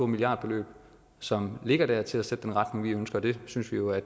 milliardbeløb som ligger der til at sætte den retning vi ønsker det synes vi jo